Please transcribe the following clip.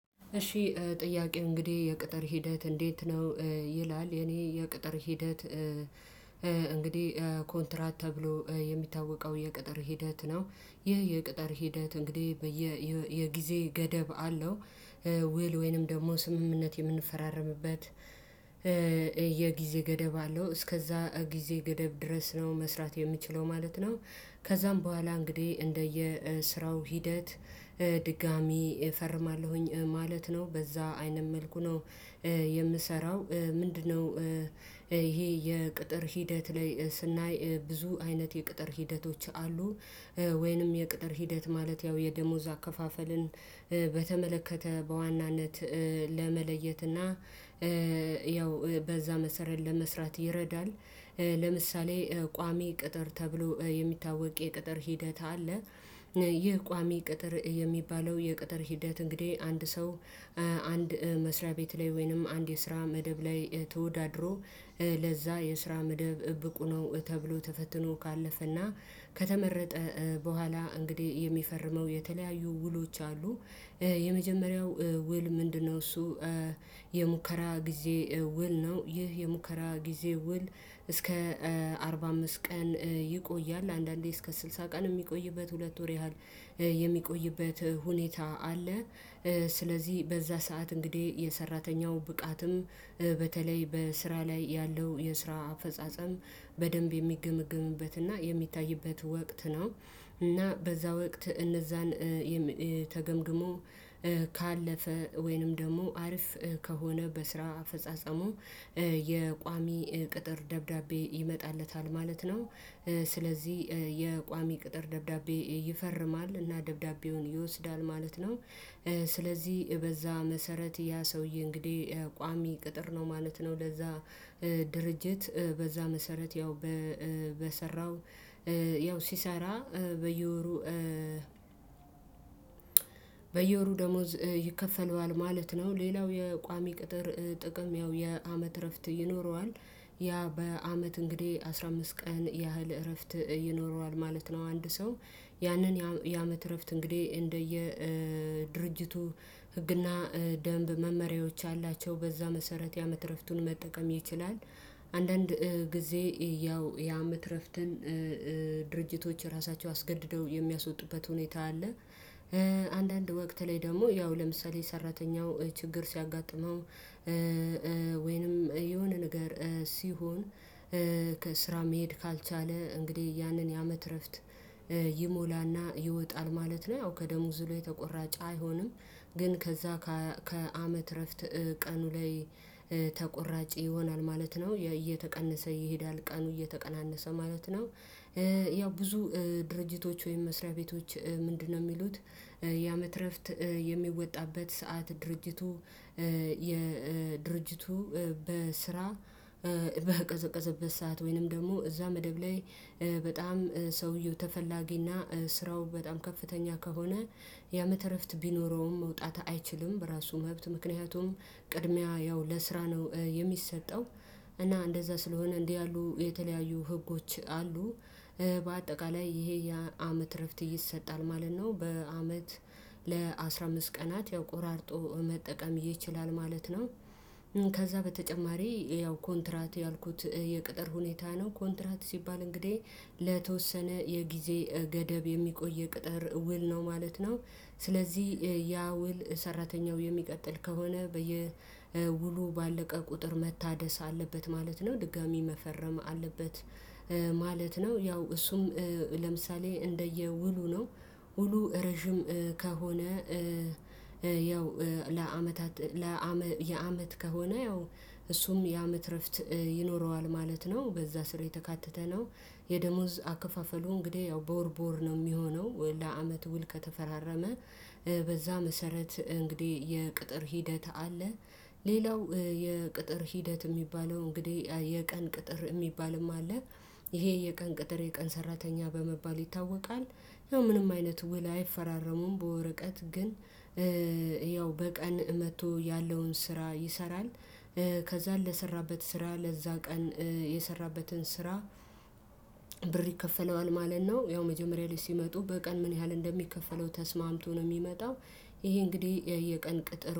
እሺ ጥያቄው እንግዲህ የቅጥር ሂደት እንዴት ነው? ይላል የኔ የቅጥር ሂደት። እንግዲህ ኮንትራት ተብሎ የሚታወቀው የቅጥር ሂደት ነው። ይህ የቅጥር ሂደት እንግዲህ የጊዜ ገደብ አለው። ውል ወይንም ደግሞ ስምምነት የምንፈራረምበት። ገደብ አለው እስከዛ ጊዜ ገደብ ድረስ ነው መስራት የምችለው ማለት ነው። ከዛም በኋላ እንግዲህ እንደየ ስራው ሂደት ድጋሚ እፈርማለሁኝ ማለት ነው በዛ አይነት መልኩ ነው። የምሰራው ምንድነው? ይሄ የቅጥር ሂደት ላይ ስናይ ብዙ አይነት የቅጥር ሂደቶች አሉ። ወይንም የቅጥር ሂደት ማለት ያው የደሞዝ አከፋፈልን በተመለከተ በዋናነት ለመለየት እና ያው በዛ መሰረት ለመስራት ይረዳል። ለምሳሌ ቋሚ ቅጥር ተብሎ የሚታወቅ የቅጥር ሂደት አለ። ይህ ቋሚ ቅጥር የሚባለው የቅጥር ሂደት እንግዲህ አንድ ሰው አንድ መስሪያ ቤት ላይ ወይንም አንድ የስራ መደብ ላይ ተወዳድሮ ለዛ የስራ መደብ ብቁ ነው ተብሎ ተፈትኖ ካለፈና ከተመረጠ በኋላ እንግዲህ የሚፈርመው የተለያዩ ውሎች አሉ። የመጀመሪያው ውል ምንድነው? እሱ የሙከራ ጊዜ ውል ነው። ይህ የሙከራ ጊዜ ውል እስከ አርባ አምስት ቀን ይቆያል አንዳንዴ እስከ ስልሳ ቀን የሚቆይበት ሁለት ወር ያህል የሚቆይበት ሁኔታ አለ። ስለዚህ በዛ ሰዓት እንግዲህ የሰራተኛው ብቃትም በተለይ በስራ ላይ ያለው የስራ አፈጻጸም በደንብ የሚገመግምበት እና የሚታይበት ወቅት ነው። እና በዛ ወቅት እነዛን ካለፈ ወይንም ደግሞ አሪፍ ከሆነ በስራ አፈጻጸሙ የቋሚ ቅጥር ደብዳቤ ይመጣለታል ማለት ነው። ስለዚህ የቋሚ ቅጥር ደብዳቤ ይፈርማል እና ደብዳቤውን ይወስዳል ማለት ነው። ስለዚህ በዛ መሰረት ያ ሰውዬ እንግዲህ ቋሚ ቅጥር ነው ማለት ነው። ለዛ ድርጅት በዛ መሰረት ያው በሰራው ያው ሲሰራ በየወሩ በየወሩ ደሞዝ ይከፈለው ማለት ነው። ሌላው የቋሚ ቅጥር ጥቅም ያው የአመት እረፍት ይኖረዋል። ያ በአመት እንግዲህ አስራ አምስት ቀን ያህል እረፍት ይኖረዋል ማለት ነው። አንድ ሰው ያንን ያመት እረፍት እንግዲህ እንደየ ድርጅቱ ህግና ደንብ መመሪያዎች አላቸው በዛ መሰረት ያመት እረፍቱን መጠቀም ይችላል። አንዳንድ ጊዜ ያው የአመት እረፍትን ድርጅቶች ራሳቸው አስገድደው የሚያስወጡበት ሁኔታ አለ። አንዳንድ ወቅት ላይ ደግሞ ያው ለምሳሌ ሰራተኛው ችግር ሲያጋጥመው ወይንም የሆነ ነገር ሲሆን ከስራ መሄድ ካልቻለ እንግዲህ ያንን ያመት እረፍት ይወጣል ማለት ነው። አው ከደሞዙ ላይ ተቆራጭ አይሆንም። ግን ከዛ ከአመት እረፍት ቀኑ ላይ ተቆራጭ ይሆናል ማለት ነው እየተቀነሰ ይሄዳል ቀኑ እየተቀናነሰ ማለት ነው። ያው ብዙ ድርጅቶች ወይም መስሪያ ቤቶች ምንድነው? የሚሉት ያመት የሚወጣበት ሰዓት ድርጅቱ የድርጅቱ በስራ በቀዘቀዘበት ሰዓት ወይንም ደግሞ እዛ መደብ ላይ በጣም ሰውየው ተፈላጊና ስራው በጣም ከፍተኛ ከሆነ ያመት እረፍት ቢኖረውም መውጣት አይችልም በራሱ መብት ምክንያቱም ቅድሚያ ያው ለስራ ነው የሚሰጠው እና እንደዛ ስለሆነ እንዲህ ያሉ የተለያዩ ህጎች አሉ። በአጠቃላይ ይሄ የአመት እረፍት ይሰጣል ማለት ነው። በአመት ለአስራ አምስት ቀናት ያው ቆራርጦ መጠቀም ይችላል ማለት ነው። ከዛ በተጨማሪ ያው ኮንትራት ያልኩት የቅጥር ሁኔታ ነው ኮንትራት ሲባል እንግዲህ ለተወሰነ የጊዜ ገደብ የሚቆይ ቅጥር ውል ነው ማለት ነው። ስለዚህ ያ ውል ሰራተኛው የሚቀጥል ከሆነ ውሉ ባለቀ ቁጥር መታደስ አለበት ማለት ነው። ድጋሚ መፈረም አለበት ማለት ነው። ያው እሱም ለምሳሌ እንደየ ውሉ ነው ውሉ ረጅም ከሆነ ያው ለአመታት የአመት ከሆነ ያው እሱም የአመት እረፍት ይኖረዋል ማለት ነው። በዛ ስር የተካተተ ነው። የደሞዝ አከፋፈሉ እንግዲህ ያው በወር በወር ነው የሚሆነው ለአመት ውል ከተፈራረመ በዛ መሰረት እንግዲህ የቅጥር ሂደት አለ። ሌላው የቅጥር ሂደት የሚባለው እንግዲህ የቀን ቅጥር የሚባልም አለ። ይሄ የቀን ቅጥር የቀን ሰራተኛ በመባል ይታወቃል ያው ምንም አይነት ውል አይፈራረሙም በወረቀት ግን ያው በቀን መጥቶ ያለውን ስራ ይሰራል። ከዛ ለሰራበት ስራ ለዛ ቀን የሰራበትን ስራ ብር ይከፍነዋል ማለት ነው። ያው መጀመሪያ ላይ ሲመጡ በቀን ምን ያህል እንደሚከፈለው ተስማምቶ ነው የሚመጣው። ይሄ እንግዲህ የቀን ቅጥር